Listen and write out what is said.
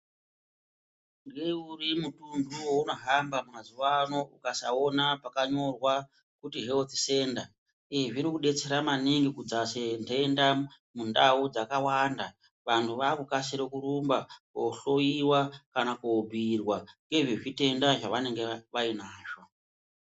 Ngeuri mutunhu waunohamba mazuva ano ukasaona pakanyorwa kuti health centre zviri kudetsera maningi kudzase ndenda mundau dzakawanda vanhu vakukasira kurumba kohlowiwa kana kobhuirwa nezvezvitenda zvavanenge vainazvo